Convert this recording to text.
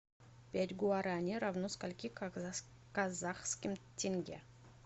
пять гуарани равно скольки казахским тенге